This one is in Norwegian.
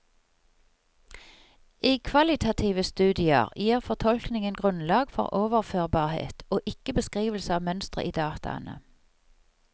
I kvalitative studier gir fortolkningen grunnlag for overførbarhet og ikke beskrivelser av mønstre i dataene.